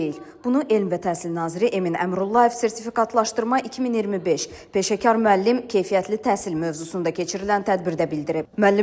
Bunu Elm və Təhsil naziri Emin Əmrullayev sertifikatlaşdırma 2025 peşəkar müəllim keyfiyyətli təhsil mövzusunda keçirilən tədbirdə bildirib.